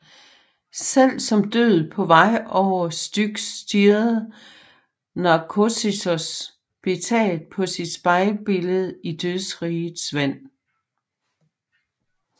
Selv som død på vej over Styx stirrede Narkissos betaget på sit spejlbillede i dødsrigets vand